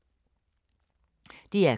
DR K